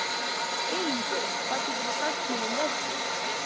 Elínbjörg, hvað geturðu sagt mér um veðrið?